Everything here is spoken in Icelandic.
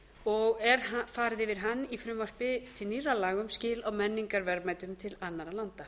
og er farið yfir hann í frumvarpi til nýrra laga um skil á menningarverðmætum til annarra landa